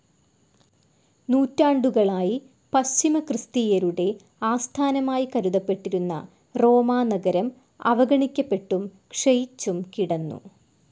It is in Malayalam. നൂറ്റാണ്ടുകളായി പശ്ചിമക്രിസ്തീയരുടെ ആസ്ഥാനമായി കരുതപെട്ടിരുന്ന റോമാനഗരം അവഗണിക്കപ്പെട്ടും ക്ഷയിച്ചും കിടന്നു.